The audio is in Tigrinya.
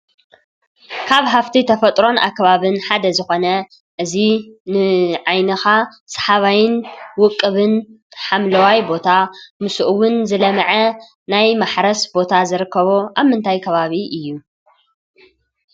ካብ ሃፍቲ ተፈጥሮን ኣከባቢ ሓደ ዝኾነ እዚ ንዓይንኻ ሰሓባይን ውቅብን ሓምለዋይ ቦታ ምስኡ እውን ዝለመዐ ናይ ማሕረስ ቦታ ዝርከቦ ኣብ ምንታይ ከባቢ እዩ?